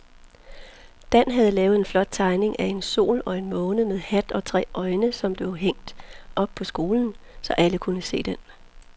Dan havde lavet en flot tegning af en sol og en måne med hat og tre øjne, som blev hængt op i skolen, så alle kunne se den.